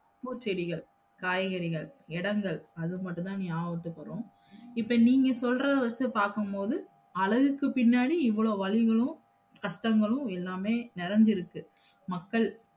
பூச்செடிகள், காய்கறிகள், இடங்கள் அது மட்டும்தான் நியாபகத்துக்கு வரும் இப்ப நீங்க சொல்றத வச்சு பாக்கும்போது அழகுக்கு பின்னாடி இவ்ளோ வலிகளும், கஷ்டங்களும் எல்லாமே நிறைஞ்சு இருக்கு மக்கள்